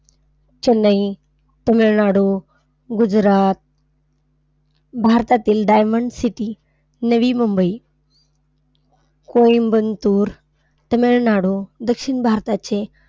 चेन्नई, तमिळनाडू, गुजरात, भारतातील diamond city Navi Mumbai, Coimbatore, Tamil Nadu, दक्षिण भारताचे,